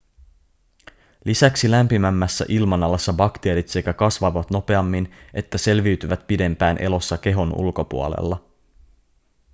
lisäksi lämpimämmässä ilmanalassa bakteerit sekä kasvavat nopeammin että selviytyvät pidempään elossa kehon ulkopuolella